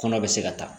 Kɔnɔ bɛ se ka taa